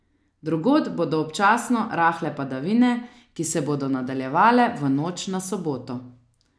Drugod bodo občasno rahle padavine, ki se bodo nadaljevale v noč na soboto.